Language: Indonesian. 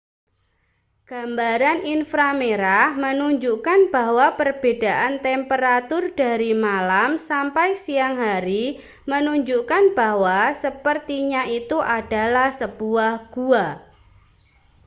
gambaran infra merah menunjukan bahwa perbedaan temperatur dari malam sampai siang hari menunjukkan bahwa sepertinya itu adalah sebuah gua